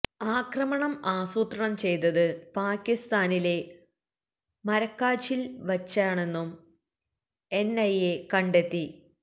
ആക്രമണം ആസൂത്രണം ചെയ്തത് പാക്കിസ്ഥാനിലെ മര്ക്കാജില് വച്ചണെന്നും എന്ഐഎ കണ്ടെത്തി